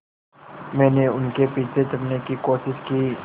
मैंने उनके पीछे चढ़ने की कोशिश की